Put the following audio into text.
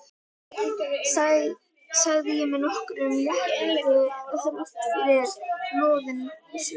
sagði ég með nokkrum létti þráttfyrir loðin svör.